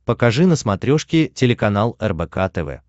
покажи на смотрешке телеканал рбк тв